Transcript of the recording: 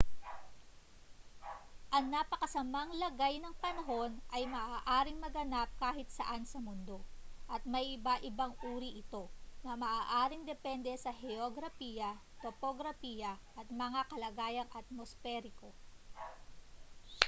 ang napakasamang lagay ng panahon ay maaaring maganap kahit saan sa mundo at may iba-ibang uri ito na maaaring depende sa heograpiya topograpiya at mga kalagayang atmosperiko